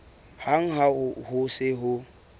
hang ha ho se ho